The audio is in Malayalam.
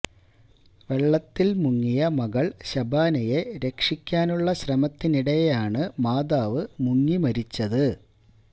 വെള്ളത്തില് മുങ്ങിയ മകള് ശബാനയെ രക്ഷിക്കാനുള്ള ശ്രമത്തിനിടെയാണ് മാതാവ് മുങ്ങി മരിച്ചത്